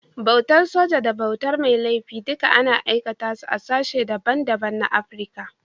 Bautar soji da bautar mai laifi duka ana aikata su a sashen da ban da ban na Afrika.